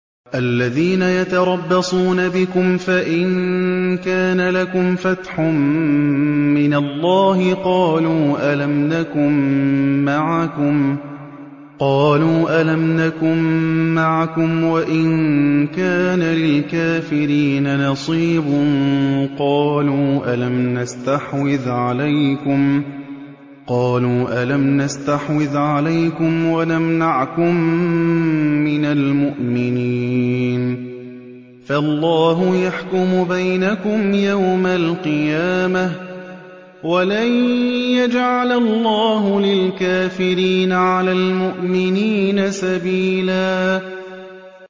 الَّذِينَ يَتَرَبَّصُونَ بِكُمْ فَإِن كَانَ لَكُمْ فَتْحٌ مِّنَ اللَّهِ قَالُوا أَلَمْ نَكُن مَّعَكُمْ وَإِن كَانَ لِلْكَافِرِينَ نَصِيبٌ قَالُوا أَلَمْ نَسْتَحْوِذْ عَلَيْكُمْ وَنَمْنَعْكُم مِّنَ الْمُؤْمِنِينَ ۚ فَاللَّهُ يَحْكُمُ بَيْنَكُمْ يَوْمَ الْقِيَامَةِ ۗ وَلَن يَجْعَلَ اللَّهُ لِلْكَافِرِينَ عَلَى الْمُؤْمِنِينَ سَبِيلًا